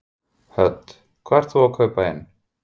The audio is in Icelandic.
Hödd: Hvað ert þú að kaupa inn?